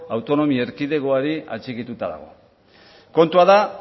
autonomi erkidegoari atxikituta dago kontua da